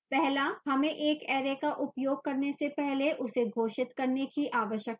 पहला हमें एक array का उपयोग करने से पहले उसे घोषित करने की आवश्यकता नहीं है